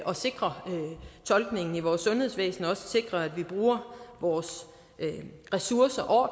at sikre tolkningen i vores sundhedsvæsen og også sikre at vi bruger vores ressourcer